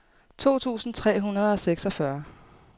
to tusind tre hundrede og seksogfyrre